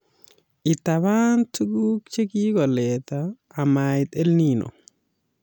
Itabaan tuguk che kikoleeta amait EL Nino